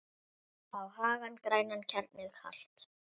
á hagann grænan, hjarnið kalt